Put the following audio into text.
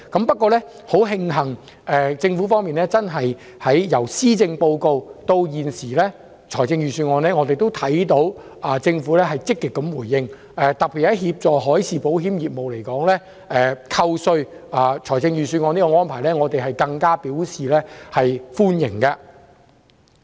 不過，很慶幸，政府在本年度施政報告及預算案均有作出積極回應，特別是就協助海事保險業而言，預算案中有關扣稅的安排，我們更表示歡迎。